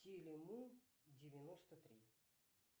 теле му девяносто три